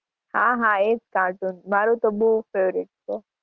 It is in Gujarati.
હા હા એજ cartoon મારુ તો બહુ faviorite છે